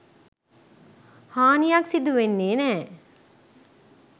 හානියක් සිදුවෙන්නේ නෑ.